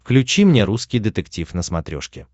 включи мне русский детектив на смотрешке